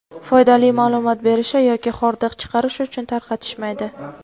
foydali ma’lumot berishi yoki xordiq chiqarish uchun tarqatishmaydi.